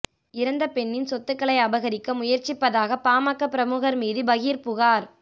இறந்த பெண்ணின் சொத்துக்களை அபகரிக்க முயற்சிப்பதாக பாமக பிரமுகர் மீது பகீர் புகார்